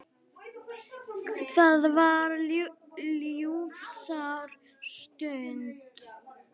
Það var ljúfsár stund.